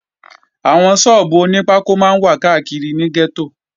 Àwọn sọ́ọ́bù oní pákó máa ń wà káàkiri gẹ́tò